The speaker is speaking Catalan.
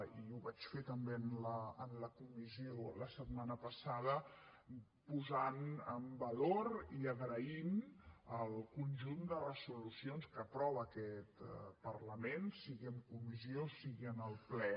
i ho vaig fer també en la comissió la setmana passada posant en valor i agraint el conjunt de resolucions que aprova aquest parlament sigui en comissió sigui en el ple